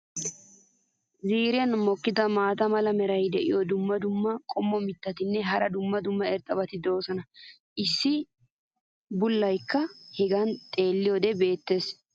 ziiriyan mokkida maata mala meray diyo dumma dumma qommo mitattinne hara dumma dumma irxxabati de'oosona. issi bullaykka hegan xeeliyoode beetees.